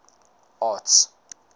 arts